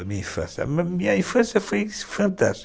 A minha infância foi fantástica.